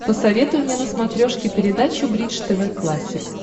посоветуй мне на смотрешке передачу бридж тв классик